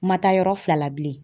Ma taa yɔrɔ fila la bilen.